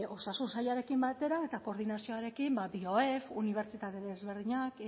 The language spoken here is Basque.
osasun sailarekin batera eta koordinazioarekin bioef unibertsitate desberdinak